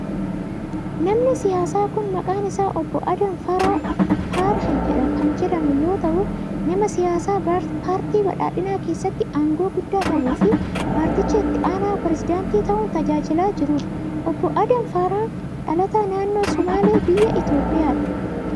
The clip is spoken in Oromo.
Namni siyaasaa kun, maqaan isaa Obbo Adam Faaraah kan jedhamu yoo ta'u, nama siyaasaa paartii badhaadhinaa keessatti aangoo guddaa qabuu fi paartichaa itti aanaa pireezidantii ta'uun tajaajilaa jiruu dha. Obbo Adam faaraah, dhalataa naannnoo Somaalee biyya Itoophiyaati.